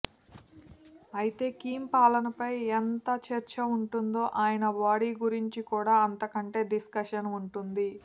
ఐతే కిమ్ పాలనపై ఎంత చర్చ ఉంటుందో ఆయన బాడీ గురించి కూడా అంతకంటే డిస్కషన్ ఉంటుంది